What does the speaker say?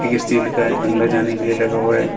एक स्टील का अंदर जाने के लिए लगा हुआ है।